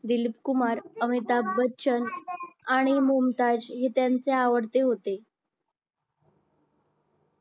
दिलीप कुमार अमिताभ बच्चन आणि मुमताज हे त्यांचे आवडते होते